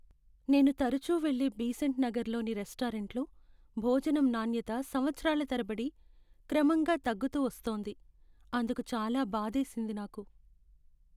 నేను తరచూ వెళ్ళే బీసెంట్ నగర్లోని రెస్టారెంట్లో భోజనం నాణ్యత సంవత్సరాల తరబడి క్రమంగా తగ్గుతూ వొస్తోంది. అందుకు చాలా బాధేసింది నాకు.